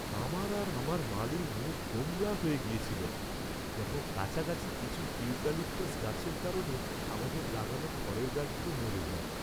আমার আর আমার মালির মুখ গোমড়া হয়ে গিয়েছিল যখন কাছাকাছি কিছু ইউক্যালিপটাস গাছের কারণে আমাদের লাগানো ফলের গাছগুলো মরে যায়।